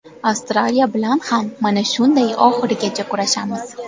Avstraliya bilan ham mana shunday oxirigacha kurashamiz.